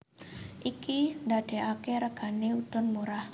Iki ndadekake regane udon murah